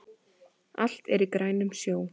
Allt er í grænum sjó